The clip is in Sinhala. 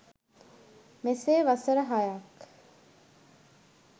මෙසේ වසර හයක්